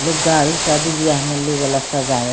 लोग गाड़ी शादी-बिहा में ले जाला सजावे --